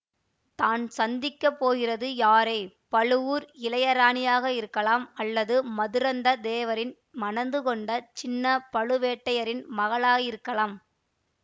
தான் சந்திக்க போகிறது யாரை பழுவூர் இளையராணியாக இருக்கலாம் அல்லது மதுரந்தக தேவரை மணந்து கொண்ட சின்ன பழுவேட்டயரின் மகளாயிருக்கலாம்